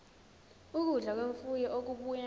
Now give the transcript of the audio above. ukudla kwemfuyo okubuya